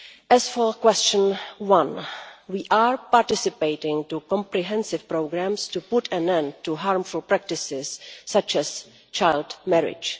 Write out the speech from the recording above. As for question 1, we are participating in comprehensive programmes to put an end to harmful practices such as child marriage.